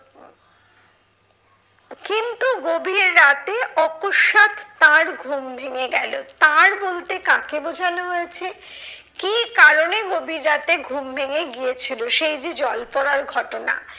কিন্তু গভীর রাতে অকস্মাৎ তার ঘুম ভেঙে গেলো। তার বলতে কাকে বোঝানো হয়েছে? কি কারণে গভীর রাতে ঘুম ভেঙে গিয়েছিলো? সেই যে জল পড়ার ঘটনা।